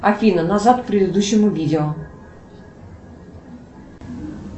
афина назад к предыдущему видео